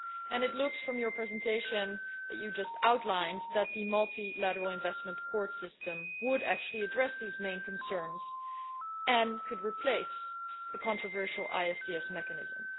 And it seems, from your presentation, that the multilateral investment court system would actually address these main concerns and could replace the controversial ISDS mechanism.